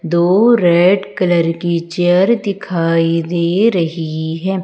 दो red colour की chair दिखाई दे रही हैं।